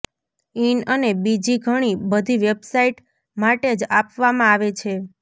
in અને બીજી ઘણી બધી વેબસાઇટ માટે જ આપવામાં આવે છે